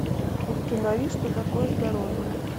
установи что такое здоровье